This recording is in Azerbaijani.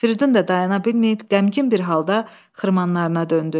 Firidun da dayana bilməyib, qəmgin bir halda xırmanlarına döndü.